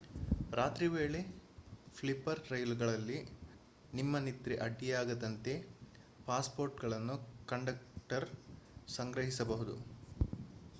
ರಾತ್ರಿ ವೇಳೆಯ ಸ್ಲೀಪರ್ ರೈಲುಗಳಲ್ಲಿ ನಿಮ್ಮ ನಿದ್ರೆಗೆ ಅಡ್ಡಿಯಾಗದಂತೆ ಪಾಸ್‌ಪೋರ್ಟ್‌ಗಳನ್ನು ಕಂಡಕ್ಟರ್ ಸಂಗ್ರಹಿಸಬಹುದು